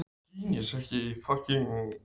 Svarið við spurningunni er því ekki einhlítt.